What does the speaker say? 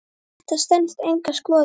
Þetta stenst enga skoðun.